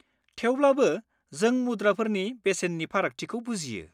थेवब्लाबो, जों मुद्राफोरनि बेसेननि फारागथिखौ बुजियो।